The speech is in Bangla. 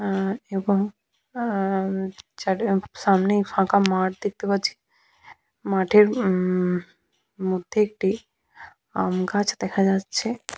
আ এবং আ সামনেই ফাঁকা মাঠ দেখতে পাচ্ছি মাঠের হুম মধ্যে একটি আমগাছ দেখা যাচ্ছে।